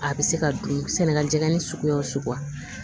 A bɛ se ka dun sɛnɛla jɛgɛn suguya suguya